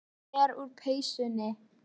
Ég fer úr peysunni.